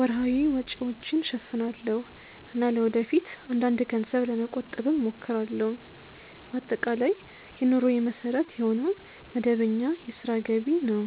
ወርሃዊ ወጪዎችን እሸፍናለሁ እና ለወደፊት አንዳንድ ገንዘብ ለመቆጠብም እሞክራለሁ። በአጠቃላይ የኑሮዬ መሠረት የሆነው መደበኛ የሥራ ገቢ ነው።